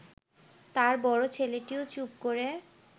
তাঁর বড় ছেলেটিও চুপ করে